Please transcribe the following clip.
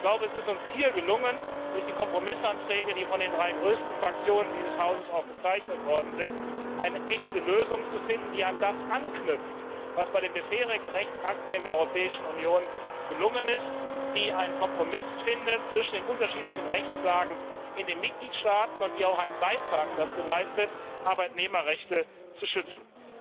Ich glaube, es ist uns hier gelungen, durch die Kompromissanträge, die von den drei größten Fraktionen dieses Hauses unterzeichnet wurden, eine echte Lösung zu finden, die an das anknüpft, was bei den bisherigen Rechtsakten in der Europäischen Union gelungen ist, die einen Kompromiss findet zwischen den unterschiedlichen Rechtslagen in den Mitgliedstaaten und die auch einen Beitrag dazu leistet, Arbeitnehmerrechte zu schützen.